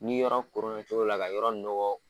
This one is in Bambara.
Ni yɔrɔ koronna cogo dɔ la ka yɔrɔ nɔgɔ.